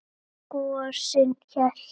Gosinn hélt.